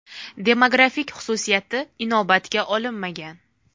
Demografik xususiyati inobatga olinmagan.